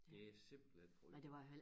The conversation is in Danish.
Det er simpelthen frygteligt